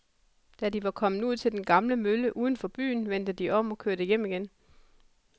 Da de var kommet ud til den gamle mølle uden for byen, vendte de om og kørte hjem igen.